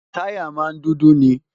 táyà máa n dúdú ni